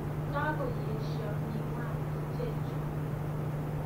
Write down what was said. Kakoyesyo miwani chechu